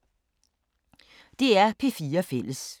DR P4 Fælles